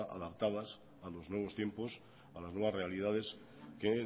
adaptadas a los nuevos tiempos a las nuevas realidades que